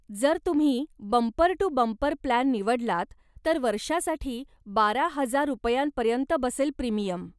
जर तुम्ही bumper to bumper plan निवडलात, तर वर्षासाठी बारा हजार रुपयांपर्यंत बसेल प्रीमियम.